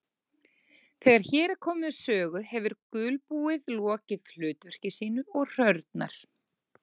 Þegar hér er komið sögu hefur gulbúið lokið hlutverki sínu og hrörnar.